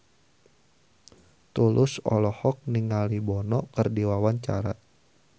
Tulus olohok ningali Bono keur diwawancara